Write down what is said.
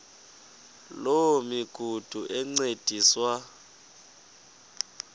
loo migudu encediswa